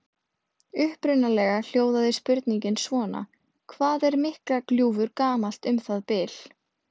Upprunalega hljóðaði spurningin svona: Hvað er Miklagljúfur gamalt um það bil?